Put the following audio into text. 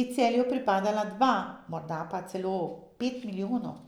bi Celju pripadla dva, morda celo pet milijonov!